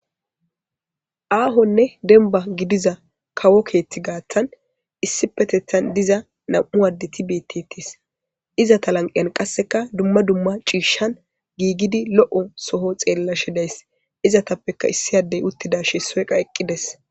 Ahonne demba gidiza kawo keetha gathan issipetethan diza nam'u addeti beetetes. Izeta lanqen qaseka duma duma c'isha giigidi lo'o soho xellashe days izetappeka issi addey uttidashin issoy eqides.